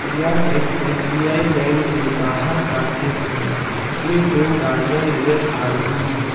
यह एक S B I bank के बाहर का दृश्य है जिसमें दो गाड़ियां नजर आ रही है।